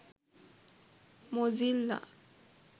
mozilla